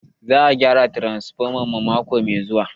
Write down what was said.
Za a gyara mana transfoma mako mai zuwa.